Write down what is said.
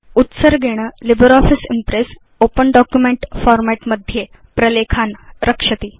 उत्सर्गेण LibreOffice impress open document format मध्ये प्रलेखान् रक्षति